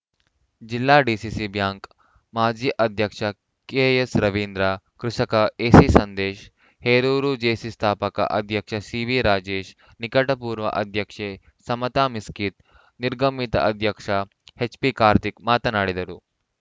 ಜಿಲ್ಲಾ DCC bank ಮಾಜಿ ಅಧ್ಯಕ್ಷ ಕೆಎಸ್‌ ರವೀಂದ್ರ ಕೃಷಿಕ ಎಸಿ ಸಂದೇಶ್‌ ಹೇರೂರು ಜೇಸಿ ಸ್ಥಾಪಕ ಅಧ್ಯಕ್ಷ ಸಿವಿ ರಾಜೇಶ್‌ ನಿಕಟಪೂರ್ವ ಅಧ್ಯಕ್ಷೆ ಸಮತಾ ಮಿಸ್ಕಿತ್‌ ನಿರ್ಗಮಿತ ಅಧ್ಯಕ್ಷ ಎಚ್‌ಪಿ ಕಾರ್ತಿಕ್‌ ಮಾತನಾಡಿದರು